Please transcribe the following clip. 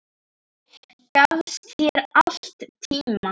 Gafst þér alltaf tíma.